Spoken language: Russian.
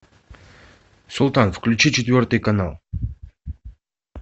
султан включи четвертый канал